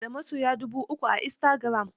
Ta na da masoya dubu uku a istagiram.